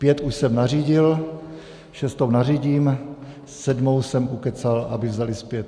Pět už jsem nařídil, šestou nařídím, sedmou jsem ukecal, aby vzali zpět.